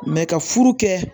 ka furu kɛ